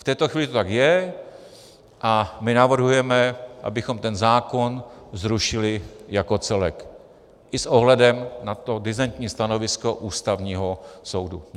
V této chvíli to tak je a my navrhujeme, abychom ten zákon zrušili jako celek i s ohledem na to disentní stanovisko Ústavního soudu.